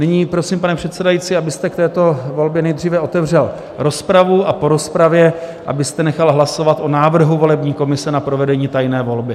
Nyní prosím, pane předsedající, abyste k této volbě nejdříve otevřel rozpravu a po rozpravě abyste nechal hlasovat o návrhu volební komise na provedení tajné volby.